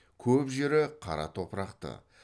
көп жері қара топырақты